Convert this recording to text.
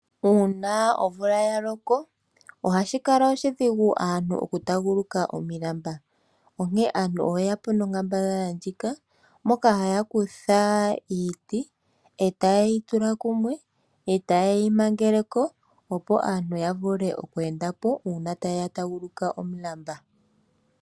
Uuna omvula ya loko ohashi kala oshidhigu kaantu okutaaguluka omilamba onkene aantu oye yapo nonkambadhala ndjika moka haya kutha iiti e taye yi tula kumwe nokuyi mangelako opo aantu ya vule okweendapo uuna taya taaguluka omulamba.